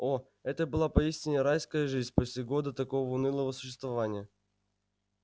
о это была поистине райская жизнь после года такого унылого существования